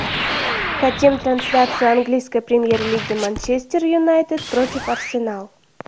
хотим трансляцию английской премьер лиги манчестер юнайтед против арсенал